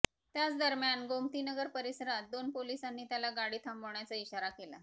त्याच दरम्यान गोमतीनगर परिसरात दोन पोलिसांनी त्याला गाडी थांबवण्याचा इशारा केला